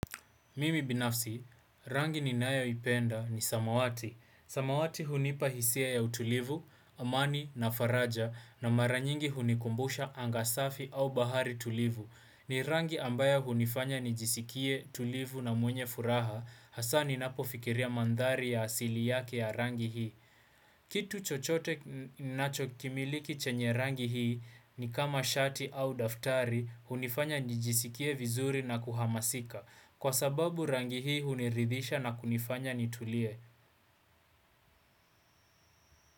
Mimi binafsi, rangi ninayo ipenda ni samawati. Samawati hunipahisia ya utulivu, amani na faraja na mara nyingi hunikumbusha angasafi au bahari tulivu. Ni rangi ambayo hunifanya nijisikie tulivu na mwenye furaha, hasa ni napofikiria mandhari ya asili yake ya rangi hii. Kitu chochote ninacho kimiliki chanye rangi hii ni kama shati au daftari hunifanya nijisikie vizuri na kuhamasika. Kwa sababu rangi hii huniridhisha na kunifanya nitulie.